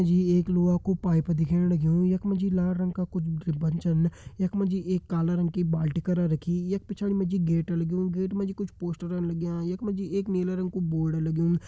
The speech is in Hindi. यु एक लुह क पाइप दिख्येण लग्युं यख मा जी लाल रंग कुछ का छन यख मा जी एक काली रंगे बाल्टी कर रखींयख पिछड़ी मा जी गेट लग्यां गेट माँ जी कुछ पोस्टर लग्यां यख मा जी एक नीला रंगो बोर्ड लग्युं।